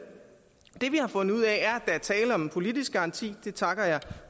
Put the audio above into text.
det vi har fundet ud af er at der er tale om en politisk garanti det takker jeg